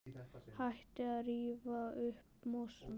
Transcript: Hættið að rífa upp mosann.